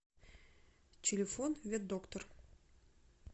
телефон ветдоктор